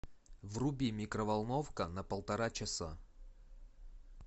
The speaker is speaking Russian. вруби микроволновка на полтора часа